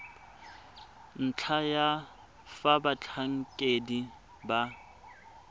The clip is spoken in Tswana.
ntlha ya fa batlhankedi ba